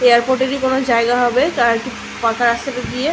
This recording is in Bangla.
এয়ারপোর্ট -এরই কোনো জায়গা হবে তারা একটি ফাঁকা রাস্তাটা দিয়ে--